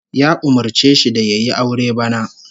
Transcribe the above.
Ya umurce shi da yayi aure bana